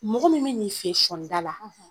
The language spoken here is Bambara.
Mɔgɔ min bina i fɛ sɔnida la